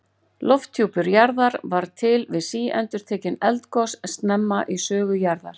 Lofthjúpur jarðar varð til við síendurtekin eldgos snemma í sögu jarðar.